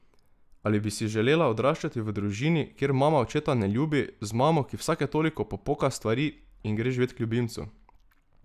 Ali bi si želela odraščati v družini, kjer mama očeta ne ljubi, z mamo, ki vsake toliko popoka stvari in gre živet k ljubimcu.